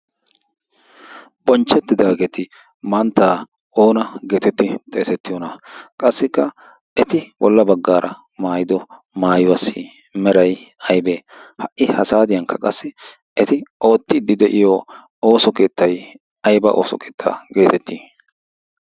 bonchchettidaageeti manttaa oona geetettii xeesettiyoona. qassikka eti bolla baggaara maayido maayuwassi merai aybee? ha'i ha saadiyankka qassi eti oottiiddi de'iyo ooso keettai aiba ooso keettaa geetettii?